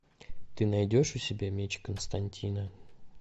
ты найдешь у себя меч константина